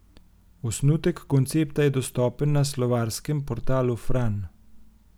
Osnutek koncepta je dostopen na slovarskem portalu Fran.